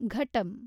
ಘಟಂ